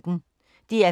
DR P1